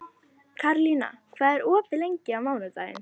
Karlína, hvað er opið lengi á mánudaginn?